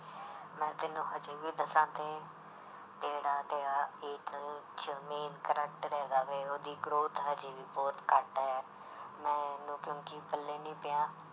ਮੈਂ ਤੈਨੂੰ ਹਜੇ ਵੀ ਦੱਸਾਂ ਤੇ ਜਿਹੜਾ ਤੇ ਆਹ 'ਚ main character ਹੈਗੇ ਵੇ ਉਹਦੀ growth ਹਜੇ ਵੀ ਬਹੁਤ ਘੱਟ ਹੈ ਮੈਨੂੰ ਕਿਉਂਕਿ ਪੱਲੇ ਨੀ ਪਿਆ,